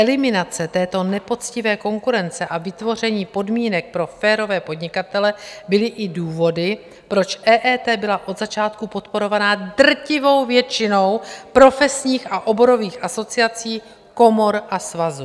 Eliminace této nepoctivé konkurence a vytvoření podmínek pro férové podnikatele byly i důvody, proč EET byla od začátku podporovaná drtivou většinou profesních a oborových asociací, komor a svazů.